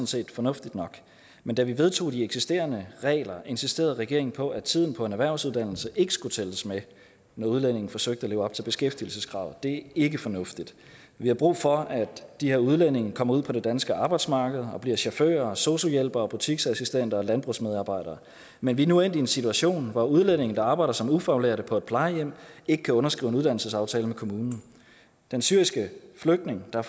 set fornuftigt nok men da vi vedtog de eksisterende regler insisterede regeringen på at tiden på en erhvervsuddannelse ikke skulle tælles med når udlændinge forsøgte at leve op til beskæftigelseskravet det ikke fornuftigt vi har brug for at de her udlændinge kommer ud på det danske arbejdsmarked og bliver chauffører sosu hjælpere butiksassistenter og landbrugsmedarbejdere men vi er nu endt i en situation hvor udlændinge der arbejder som ufaglærte på et plejehjem ikke kan underskrive uddannelsesaftale med kommunen den syriske flygtning der